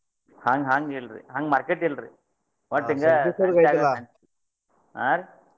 ಹಂಗ~ ಹಂಗಿಲ್ರಿ ಹಂಗ market ಇಲ್ರಿ. ಹಾ ರೀ?